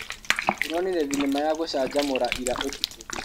Tũronire thinema ya gũcamjamũra ira ũtukũ.